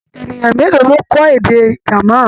Ènìyàn mélòó ló kọ́ èdè German.